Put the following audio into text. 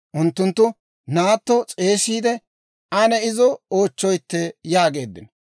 Unttunttu, «Naatto s'eesiide ane izo oochchoytte» yaageeddino.